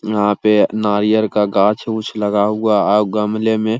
यहाँ पे नारियल का गाच्छ उच्छ लगा हुआ औ गमले में --